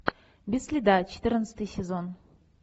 без следа четырнадцатый сезон